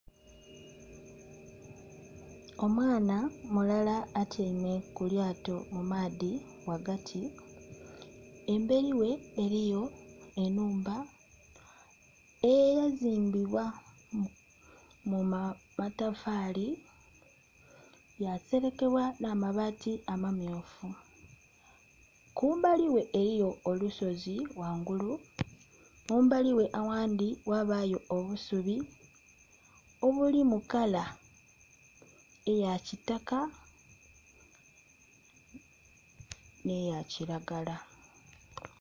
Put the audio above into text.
Omwana mulala atyaime kulyato mumaadhi ghagati emberi ghe eriyo enhumba eyazimbibwa mumatafali yaserekebwa n'amabaati amammyufu kumbali ghe eriyo olusozi ghangulu kumbali ghe aghandhi ghabayo obusubi obuli mukaala eya kitaka n'eya kiragala.